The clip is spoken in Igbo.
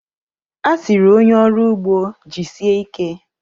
A sịrị onye ọrụ ugbo, "Jisie ike"